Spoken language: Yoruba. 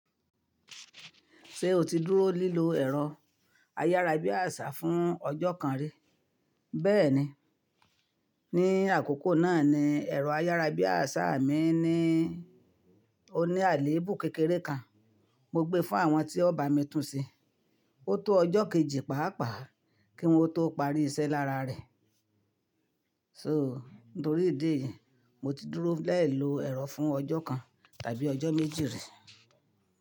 Ṣé o ti dúró lílo ẹ̀rọ ayárabíàṣá fún ọjọ́ kan rí? Bẹ́ẹ̀ni, ní àkókò náà ni ẹ̀rọ ayárabíàṣá mi ní oníàléébù kékeré kan. Mo gbé fún àwọn tí o ba mi tún ṣe. Ó tó ọjọ́ kejì pàápàá kí wọ́n tó parí iṣẹ́ lára rẹ̀. So nítorí ìdí èyí, mo ti dúró lẹ́ẹ̀lo ẹ̀rọ fún ọjọ́ kan tàbí ọjọ́ méjì rí.